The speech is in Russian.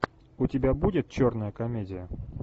у тебя будет черная комедия